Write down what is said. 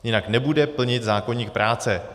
Jinak nebude plnit zákoník práce.